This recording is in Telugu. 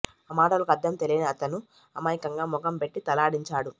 ఆ మాటలకు అర్ధం తెలియని అతను అమాయకంగా ముఖం పెట్టి తలాడించాడు